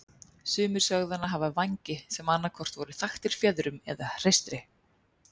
Sumir sögðu hana hafa vængi sem annað hvort voru þaktir fjöðrum eða hreistri.